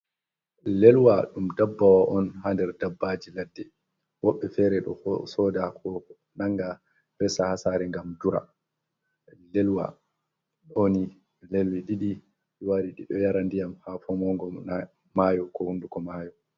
Lelwa, ɗum dabbawa on ha nder dabbaaji ladde, woɓɓe fere ɗo bo sooda, ko nanga, resa ha saare ngam dura. Lelwa, ɗo ni lelli ɗiɗi wari yara ndiyam ha fomongo maayo, ko hunduko maayo.